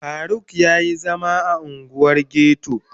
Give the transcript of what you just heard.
Faruk ya yi zama a unguwar ghetto